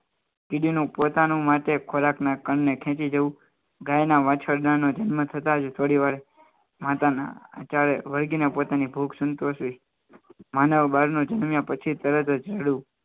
કીડી નું પોતાનું માટે ખોરાકના કારણે ખેંચી જવું ગાયના વાછરડાનો જન્મ થતા જ થોડી વાર માતાના અત્યારે વર્ગીને પોતાની ભૂખ સંતોષવી માનવ જન્મ્યા પછી તરત જડુ